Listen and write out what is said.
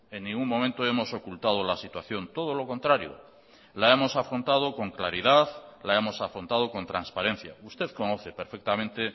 en ningún momento hemos ocultado la situación todo lo contrario la hemos afrontado con claridad la hemos afrontado con transparencia usted conoce perfectamente